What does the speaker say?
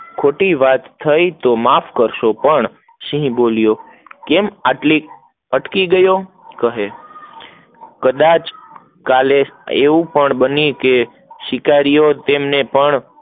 ખોટી વાત થઇ તો માફ કરશો, પણ સિંહ બોલ્યો કેમ આટલે અટકી ગયો, કહે કડછ કલા એએવું પણ બને શિકારીઓ તેમને પણ